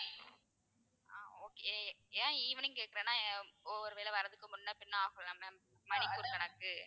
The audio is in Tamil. ஆஹ் okay ஏன் evening கேக்குறேன்னா ஒரு வேளை வரதுக்கு முன்ன பின்ன ஆகும்ல ma'am மணிக்கு ஒரு கணக்கு.